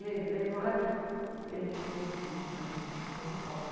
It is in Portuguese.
Levei uma olhada, uh, ele deixou eu subir, né, em cima do palco.